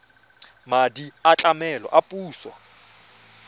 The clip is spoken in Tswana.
madi a tlamelo a puso